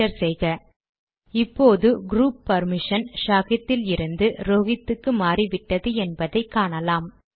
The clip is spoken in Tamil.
என்டர் செய்க இப்போது க்ரூப் பர்மிஷன் ஷாஹித் இலிருந்து ரோஹித் க்கு மாறிவிட்டது என்பதை காணலாம்